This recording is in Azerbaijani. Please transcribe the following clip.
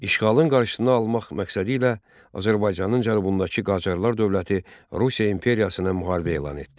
İşğalın qarşısını almaq məqsədilə Azərbaycanın cənubundakı Qacarlar dövləti Rusiya imperiyasına müharibə elan etdi.